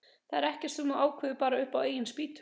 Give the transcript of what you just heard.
Þetta er ekkert sem þú ákveður bara upp á eigin spýtur.